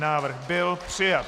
Návrh byl přijat.